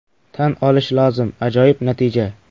Tan olish lozim, ajoyib natija!